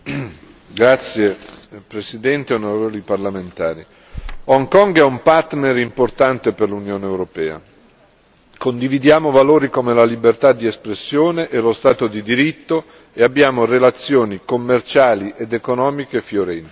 Signor Presidente, onorevoli Parlamentari, Hong Kong è un partner importante per l'Unione europea condividiamo valori come la libertà di espressione e lo Stato di diritto e abbiamo relazioni commerciali ed economiche fiorenti.